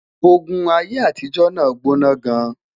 ògún aiyé àtijó nà gbóná gaan